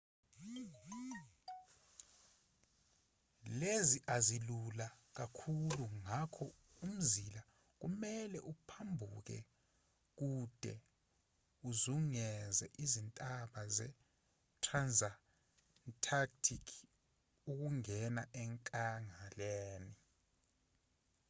lezi azilula kakhulu ngakho umzila kumelwe uphambukele kude uzungeze izintaba zetransantarctic ukungena enkangaleni